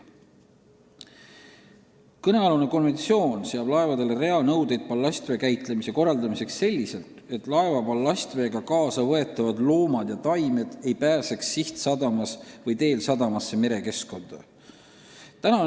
Kõnealune konventsioon seab laevadele reaalnõudeid ballastvee käitlemise korraldamiseks selliselt, et laeva ballastveega kaasa võetavad loomad ja taimed ei pääseks sihtsadamas või teel sadamasse merekeskkonda.